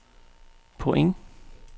point